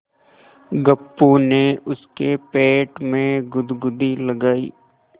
गप्पू ने उसके पेट में गुदगुदी लगायी